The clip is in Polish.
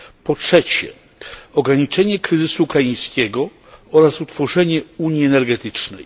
Po trzecie, ograniczenie kryzysu ukraińskiego oraz utworzenie unii energetycznej.